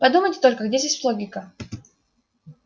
подумайте только где здесь логика